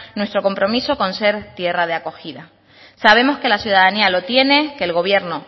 nuestro compromiso con ser tierra de acogida sabemos que la ciudadanía lo tiene que el gobierno